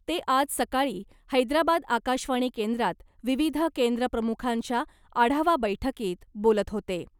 ते आज सकाळी हैद्राबाद आकाशवाणी केंद्रात विविध केंद्र प्रमुखांच्या आढावा बैठकीत बोलत होते .